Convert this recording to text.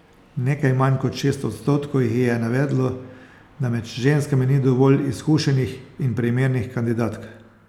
Nekaj manj kot šest odstotkov jih je navedlo, da med ženskami ni dovolj izkušenih in primernih kandidatk.